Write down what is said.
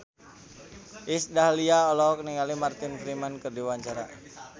Iis Dahlia olohok ningali Martin Freeman keur diwawancara